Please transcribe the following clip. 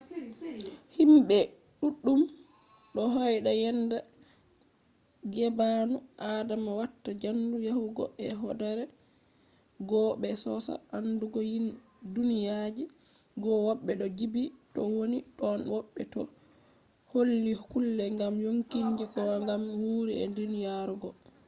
himɓe duɗɗum do hoyda yenda gbaanu adama watta jandu yahugo e hoodere goo be sosa andugo duniyaji goo woɓɓe do jibbi to woni tonn woɓɓe do holli kulle gam yonkinji goo gam no wuuri e duniyari goo